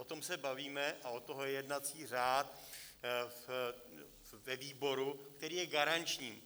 O tom se bavíme, a od toho je jednací řád, ve výboru, který je garanční.